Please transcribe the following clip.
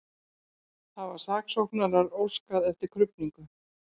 Hafa saksóknarar óskað eftir krufningu